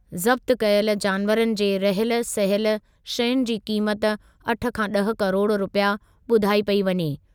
ज़ब्त कयल जानवरनि जे रहियल सहियल शयुनि जी क़ीमत अठ खां ॾह किरोड़ रुपया ॿुधाई पेई वञे।